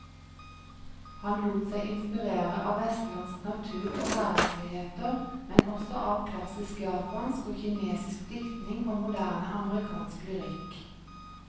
Han lot seg inspirere av vestlandsk natur og hverdagsligheter, men også av klassisk japansk og kinesisk diktning og moderne amerikansk lyrikk.